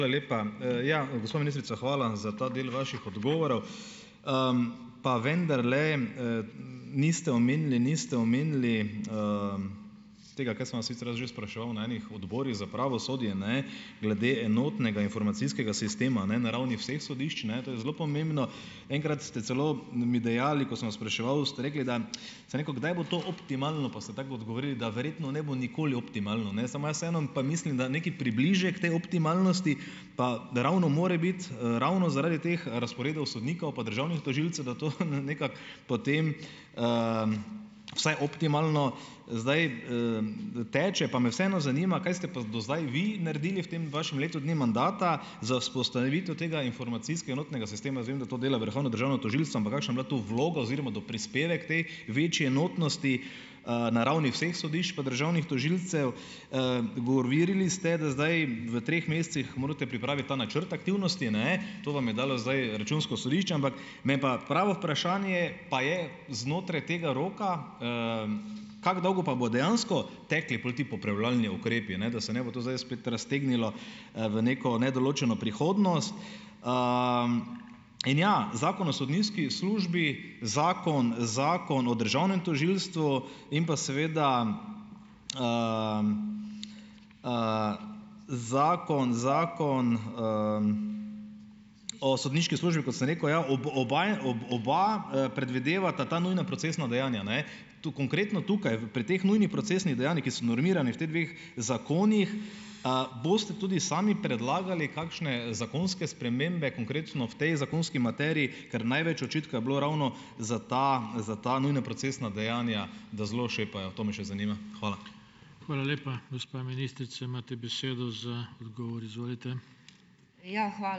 Hvala lepa. ja, gospa ministrica, hvala za ta del vaših odgovorov . pa vendarle, niste omenili, niste omenili, tega, kaj sem vas sicer že spraševal na ene odborih za pravosodje, ne, glede enotnega informacijskega sistema, ne, na ravni vseh sodišč, ne, to je zelo pomembno. Enkrat ste celo mi dejali, ko sem vas spraševal, ste rekli, da, sem rekel, kdaj bo to optimalno pa ste tako odgovorili, da verjetno ne bo nikoli optimalno, ne, samo jaz vseeno pa mislim, da nekaj približek te optimalnosti pa, da ravno mora biti, ravno zaradi teh razporedov sodnikov pa državnih tožilcev, da to nekako potem, vsaj optimalno zdaj, teče. Pa me vseeno zanima, kaj ste pa do zdaj vi naredili v tem vašem letu dni mandata za vzpostavitev tega enotnega sistema. Jaz vem, da to dela Vrhovno državno tožilstvo, ampak kakšna bila to vloga oziroma doprispevek te večje enotnosti, na ravni vseh sodišč pa državnih tožilcev? govorili ste, da zdaj v treh mesecih morate pripraviti ta načrt aktivnosti, ne, to vam je dalo zdaj Računsko sodišče, ampak me pa pravo vprašanje pa je znotraj tega roka, kako dolgo pa bodo dejansko tekli pol ti popravljalni ukrepi, da se ne bo to spet raztegnilo, v neko nedoločeno prihodnost. in ja, Zakon o sodniški službi, zakon, Zakon o državnem tožilstvu in pa seveda, zakon, Zakon, o sodniški službi, kot sem rekel, ja, oba predvidevata ta nujna procesna dejanja, ne. Tu, konkretno tukaj pri teh nujnih procesnih dejanjih, ki so normirani v teh dveh zakonih, boste tudi sami predlagali kakšne zakonske spremembe, konkretno v tej zakonski materiji, ker največ očitka je bilo ravno za ta, za ta nujna procesna dejanja, da zelo šepajo, to me še zanima. Hvala. Hvala lepa. Gospa ministrica, imate besedo za odgovor, izvolite. Ja, ...